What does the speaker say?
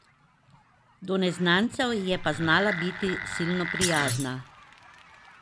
Do neznancev je pa znala biti silno prijazna.